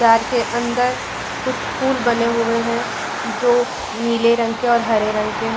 घर के अंदर कुछ फूल बने हुए हैं जो नीले रंग के और हरे रंग के हैं।